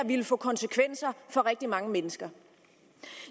får konsekvenser for rigtig mange mennesker